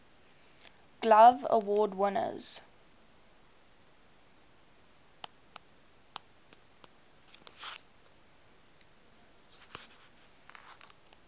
glove award winners